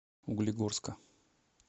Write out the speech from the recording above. углегорска